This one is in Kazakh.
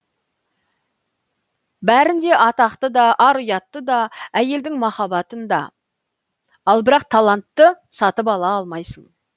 бәрін де атақты да ар ұятты да әйелдің махаббатын да ал бірақ талантты сатып ала алмайсың